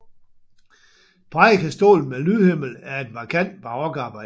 Prædikestolen med lydhimmel er et markant barokarbejde